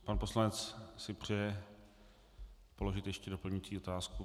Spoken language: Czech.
Pan poslanec si přeje položit ještě doplňující otázku.